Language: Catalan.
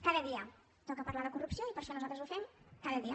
cada dia toca parlar de corrupció i per això nosaltres ho fem cada dia